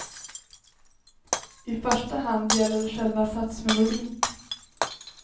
I första hand gäller det själva satsmelodin.